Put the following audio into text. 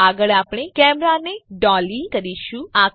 આગળ આપણે કેમેરાને ડોલી કરીશું